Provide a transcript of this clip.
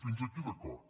fins aquí d’acord